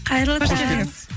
қайырлы таң